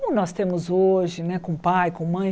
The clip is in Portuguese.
como nós temos hoje né, com pai, com mãe.